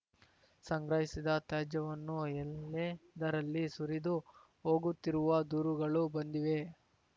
ಸಂಗ್ರಹಿಸಿದ ತ್ಯಾಜ್ಯವನ್ನು ಎಲ್ಲೆಂದರಲ್ಲಿ ಸುರಿದು ಹೋಗುತ್ತಿರುವ ದೂರುಗಳು ಬಂದಿವೆ